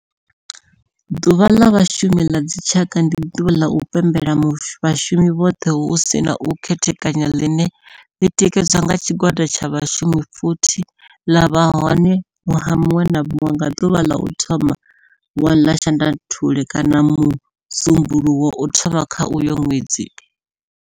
Ḓuvha la Vhashumi la dzi tshaka, ndi duvha la u pembela vhashumi vhothe hu si na u khethekanya line li tikedzwa nga tshigwada tsha vhashumi futhi ḽa vha hone nwaha munwe na munwe nga duvha la u thoma 1 ḽa Shundunthule kana musumbulowo wa u thoma kha uyo nwedzi.